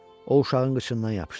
O uşağın qıçından yapışdı.